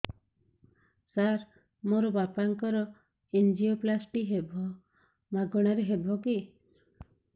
ସାର ମୋର ବାପାଙ୍କର ଏନଜିଓପ୍ଳାସଟି ହେବ ମାଗଣା ରେ ହେବ କି